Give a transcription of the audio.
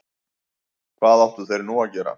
Hvað áttu þeir nú að gera?